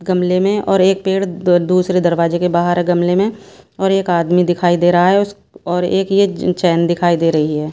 गमले में और एक पेड़ दूसरे दरवाजे के बाहर है गमले में और एक आदमी दिखाई दे रहा है उस और एक यह चैन दिखाई दे रही है।